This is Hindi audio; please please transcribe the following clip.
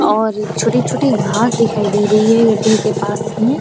और छोटी छोटी घास दिखाई दे रही है गड्ढे के पास में।